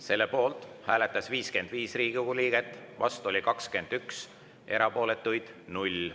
Selle poolt hääletas 55 Riigikogu liiget, vastu oli 21, erapooletuid 0.